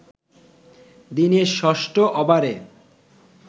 দিনের ষষ্ঠ ওভারে